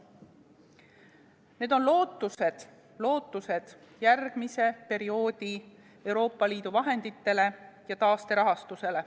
Need on lootused järgmise perioodi Euroopa Liidu vahenditele ja taasterahastusele.